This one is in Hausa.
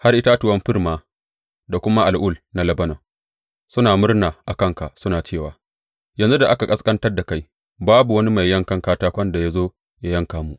Har itatuwan fir ma da kuma al’ul na Lebanon suna murna a kanka suna cewa, Yanzu da aka ƙasƙantar da kai, babu wani mai yankan katakon da ya zo yă yanka mu.